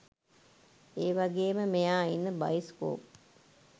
ඒවගේම මෙයා ඉන්න බයිස්කෝප්